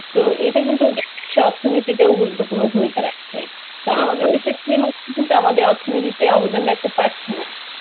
তো এটা কিন্তু ওদের দেশের অর্থনীতিতেও গুরুত্বপূর্ণ ভূমিকা রাখছে. তা আমাদের দেশের cinema গুলো কিন্তু অর্থনীতি তে অবদান রাখতে পারছেনা.